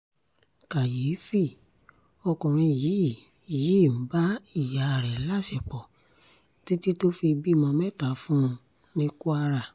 kàyééfì ọkùnrin yìí yìí ń bá ìyá rẹ̀ láṣepọ̀ títí tó fi bímọ mẹ́ta fún un ní kwara